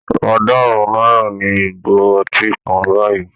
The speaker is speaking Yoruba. Ọ̀ọ́dúnrún náírà ni ìgò ọtí kan báyìí